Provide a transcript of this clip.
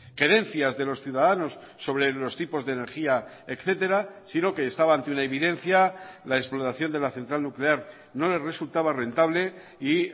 querencias de los ciudadanos sobre los tipos de energía etcétera sino que estaba ante una evidencia la explotación de la central nuclear no les resultaba rentable y